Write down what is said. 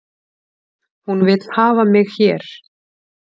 Hún vill hafa mig hér